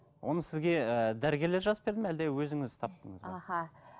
оны сізге ыыы дәрігерлер жазып берді ме әлде өзіңіз таптыңыз ба аха